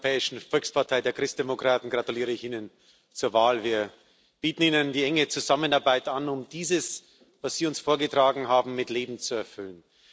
Im Namen der Europäischen Volkspartei, der Christdemokraten, gratuliere ich Ihnen zur Wahl. Wir bieten Ihnen die enge Zusammenarbeit an, um dies, was Sie uns vorgetragen haben, mit Leben zu erfüllen.